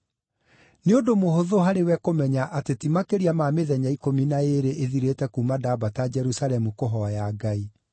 Nĩ ũndũ mũhũthũ harĩwe kũmenya atĩ ti makĩria ma mĩthenya ikũmi na ĩĩrĩ ĩthirĩte kuuma ndambata Jerusalemu kũhooya Ngai.